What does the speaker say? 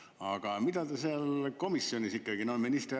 Aga mida te seal komisjonis ikkagi arutasite?